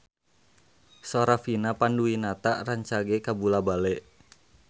Sora Vina Panduwinata rancage kabula-bale